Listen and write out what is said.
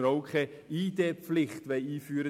Wir wollten damit auch keine ID-Pflicht einführen.